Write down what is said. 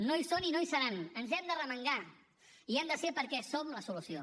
no hi són i no hi seran en hem d’arremangar i hi hem de ser perquè som la solució